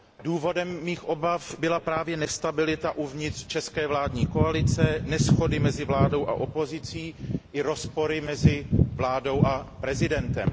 Důvodem mých obav byla právě nestabilita uvnitř české vládní koalice, neshody mezi vládou a opozicí i rozpory mezi vládou a prezidentem.